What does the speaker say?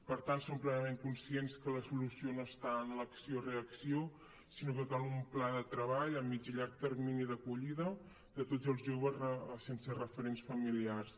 per tant som plenament conscients que la solució no està en l’acció reacció sinó que cal un pla de treball a mitjà i llarg termini d’acollida de tots els joves sense referents familiars